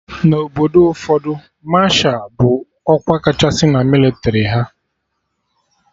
Na Obodo ụfọdụ, Masha bụ ọkwa kachasị na mịlịtrị ha